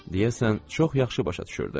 Deyəsən, çox yaxşı başa düşürdü.